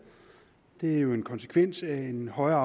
det er jo en konsekvens af en højere